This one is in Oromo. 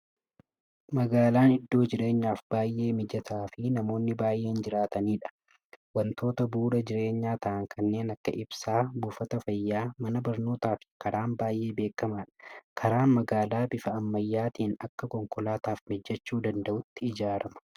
Magaalaan iddoo jirernyaaf baay'ee mijataa fi namonni baay'een jiraatanidha. Wantoota bu'uura jireenyaa ta'an kanneen akka: ibsaa, buufata fayyaa, mana barnootaa fi karaan baay'ee beekamaadha. Karaan magaalaa bifa ammayyaatiin akka konkolaataaf mijachuu danda'utti ijaarama.